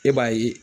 E b'a ye